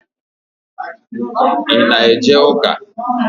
I ná eje ụka?